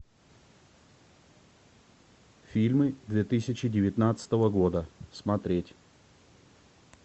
фильмы две тысячи девятнадцатого года смотреть